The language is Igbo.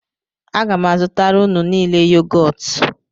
Aga m azụtara unu niile yogọt